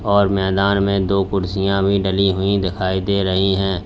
और मैदान में दो कुर्सियां भी डली हुई दिखाई दे रही हैं।